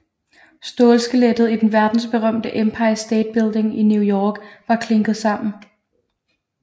Stålskelettet i den verdensberømte Empire State Building i New York var klinket sammen